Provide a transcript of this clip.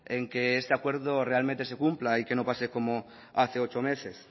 en que este acuerdo realmente se cumpla y que no pase como hace ocho meses